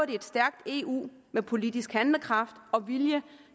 et stærkt eu med politisk handlekraft og vilje